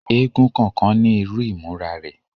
Èègún kọọkan ni iru imura rẹ